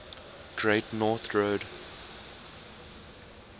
great north road